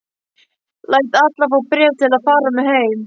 Lét alla fá bréf til að fara með heim.